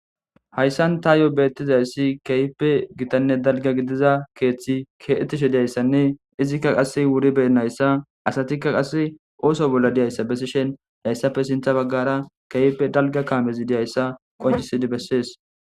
Haysan tayo betizasi kehippe gittane dalga gidiza kethiyi betishe dizaysi wuri beyinaysa oso bolla dizaysa besishe hisatho sintha bagara dizaysa qonciside beses